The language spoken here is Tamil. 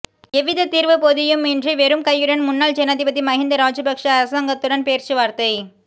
எவ்வித தீர்வுப் பொதியும் இன்றி வெறும் கையுடன் முன்னாள் ஜனாதிபதி மகிந்த ராஜபக்ஷ அரசாங்கத்துடன் பேச்சுவார்த்தை